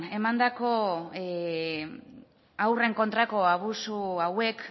emandako haurren kontrako abusu hauek